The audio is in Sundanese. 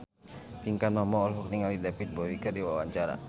Pinkan Mambo olohok ningali David Bowie keur diwawancara